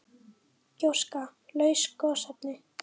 Gjóska- laus gosefni